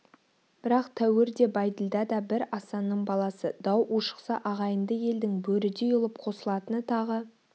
бірақ тәуір де бәйділда да бір асанның баласы дау ушықса ағайынды елдің бөрідей ұлып қосылатыны тағы